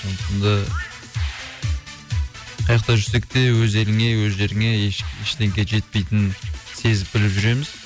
сондықтан да қайяқта жүрсек те өз еліңе өз жеріңе іштеңке жетпейтінін сезіп біліп жүреміз